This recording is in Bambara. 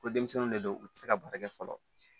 Ko denmisɛnninw de don u tɛ se ka baara kɛ fɔlɔ